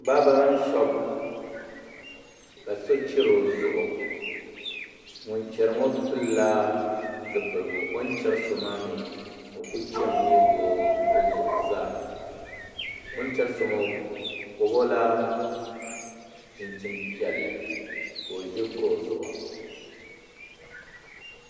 Baabirin shoop ka so chɛri o zuɣu ŋun chɛri ŋo pilila zipiligu o ni chɛri so maa mii o ku chɛmi neegi o zuɣu zaa o ni chɛri so maa o pobo la chinchin piɛlli ka o ʒi kuɣu zuɣu